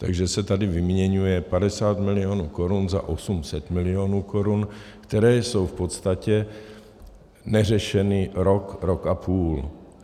Takže se tady vyměňuje 50 milionů korun za 800 milionů korun, které jsou v podstatě neřešeny rok, rok a půl.